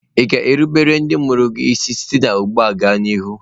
Ị ga-erubere ndị mụrụ gị isi site ugbu a gaa n'ihu?